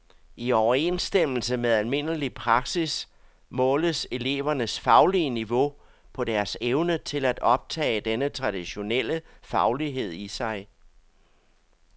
I overensstemmelse med almindelig praksis måles elevernes faglige niveau på deres evne til at optage denne traditionelle faglighed i sig.